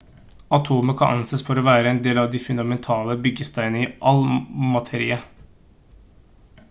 atomet kan anses for å være en av de fundamentale byggesteinene i all materie